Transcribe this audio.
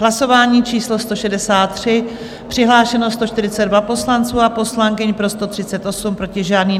Hlasování číslo 163, přihlášeno 142 poslanců a poslankyň, pro 138, proti žádný.